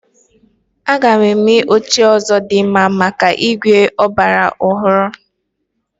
A ga-eme oche ndị ọzọ dị mma maka ígwè ọgbara ọhụrụ.